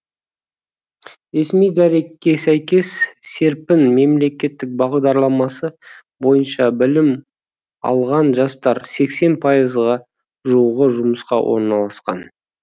ресми дәрекке сәйкес серпін мемлекеттік бағдарламасы бойынша білім алған жастар сексен пайызға жуығы жұмысқа орналасқан